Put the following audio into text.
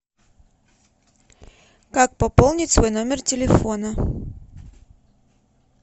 как пополнить свой номер телефона